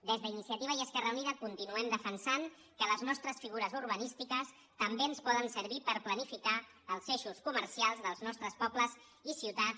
des d’iniciativa i esquerra unida continuem defensant que les nostres figures urbanístiques també ens poden servir per planificar els eixos comercials dels nostres pobles i ciutats